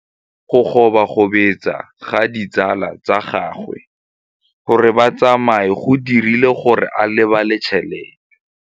Go gobagobetsa ga ditsala tsa gagwe, gore ba tsamaye go dirile gore a lebale tšhelete.